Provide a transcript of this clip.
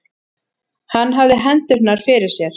Hann hafði hendurnar fyrir sér.